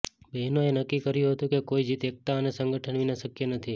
બહેનોએ નક્કી કર્યું હતું કે કોઈ જીત એકતા અને સંગઠન વિના શક્ય નથી